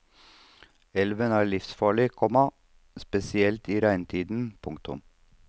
Elven er livsfarlig, komma spesielt i regntiden. punktum